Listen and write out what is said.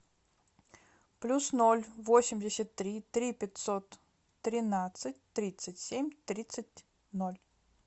плюс ноль восемьдесят три три пятьсот тринадцать тридцать семь тридцать ноль